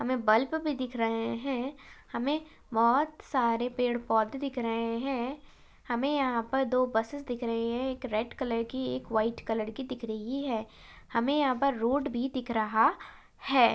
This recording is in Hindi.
हमे बल्प भी दिख रहे है। हमे बहुत सारे पेड़ पौधे दिख रहे है। हमे यहा पर दो बसेस दिख रही है। एक रेड कलर की एक व्हाइट कलर की दिख रही है। हमे यहा पर रोड भी दिख रहा है।